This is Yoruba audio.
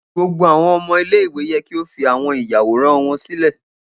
Gbogbo awọn ọmọ ile-iwe yẹ ki o fi awọn iyaworan wọn silẹ!